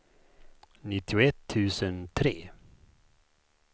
nittioett tusen tre